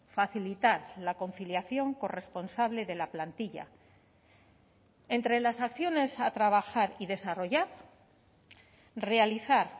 facilitar la conciliación corresponsable de la plantilla entre las acciones a trabajar y desarrollar realizar